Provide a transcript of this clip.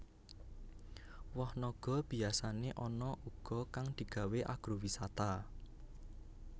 Woh naga biyasané ana uga kang digawé agrowisata